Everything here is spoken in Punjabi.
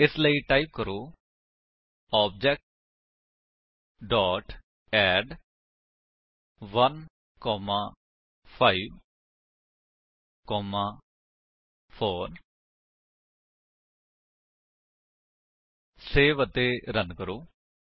ਇਸ ਲਈ ਟਾਈਪ ਕਰੋ OBJ dot add 1 comma 5 comma 4 save ਅਤੇ ਰਨ ਕਰੋ